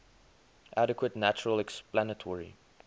adequate natural explanatory